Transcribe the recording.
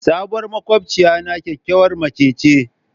Sabuwar makwabciyana kyakkyawar mace ce.